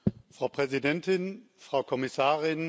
Frau Präsidentin, Frau Kommissarin!